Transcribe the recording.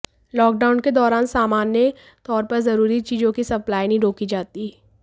lockdown के दौरान सामान्य तौर पर जरूरी चीजों की सप्लाई नहीं रोकी जाती